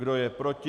Kdo je proti?